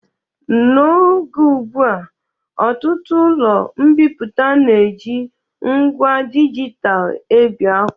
N'oge ụgbụa, ọtụtụ ụlọ mbipụta na-eji ngwa dịgital ebi akwụkwọ